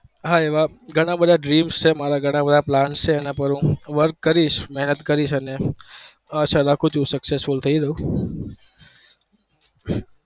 હા એવા ઘણા બધાં dreams છે મારા ઘણા બધાં plan છે મારા એના પર હું work કરીશ મેહનત કરીશ અને આશા રાખું છુ કે successful થઇ જઉં